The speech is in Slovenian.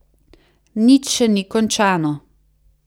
Nič še ni končano.